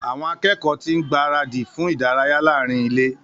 Àwọn akẹ́kọ̀ọ́ ti ń gbára dì fún ìdárayá láàrín ile